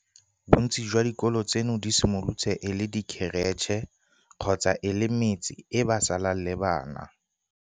Bontsi jwa dikolo tseno di simolotse e le dikheretšhe kgotsa e le metse e ba salang le bana.